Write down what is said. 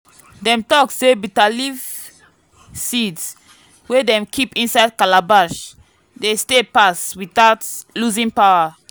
dem talk say bitterleaf seeds wey dem keep inside calabash dey stay pass without losing power.